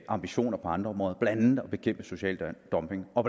ambitioner på andre områder blandt andet at bekæmpe social dumping og